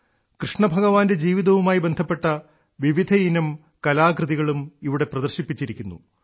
കൃഷ്ണഭഗവാന്റെ ജീവിതവുമായി ബന്ധപ്പെട്ട വിവിധയിനം കലാരൂപങ്ങളും ഇവിടെ പ്രദർശിപ്പിച്ചിരിക്കുന്നു